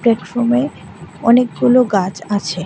প্লাটফর্মে অনেকগুলো গাছ আছে।